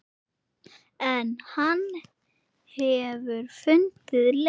En hann hefur fundið leið.